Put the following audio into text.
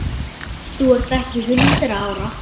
Þú ert ekki hundrað ára!